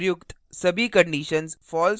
यदि उपर्युक्त सभी conditions false हों तो